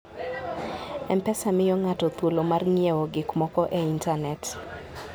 M-Pesa miyo ng'ato thuolo mar ng'iewo gik moko e intanet.